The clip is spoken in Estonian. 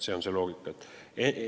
See on see loogika.